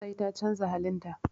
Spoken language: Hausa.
Sai ta canza halin ta.